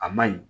A ma ɲi